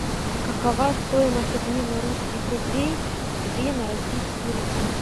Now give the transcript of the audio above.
какова стоимость обмена русских рублей две на российские рубли